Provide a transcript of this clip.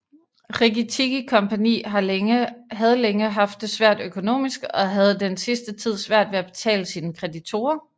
Rikki Tikki Company havde længe haft det svært økonomisk og havde den sidste tid svært ved at betale sine kreditorer